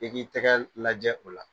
k'i k'i tɛgɛ lajɛ o la